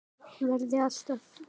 Verði alltaf.